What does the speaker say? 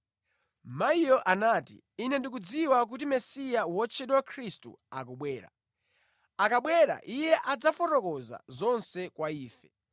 Mayiyo anati, “Ine ndikudziwa kuti Mesiya (wotchedwa Khristu) akubwera. Akabwera, Iye adzafotokoza zonse kwa ife.”